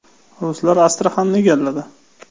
Ruslar Astraxanni egalladi.